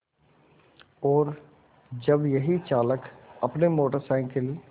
और जब यही चालक अपनी मोटर साइकिल